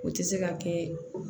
O tɛ se ka kɛ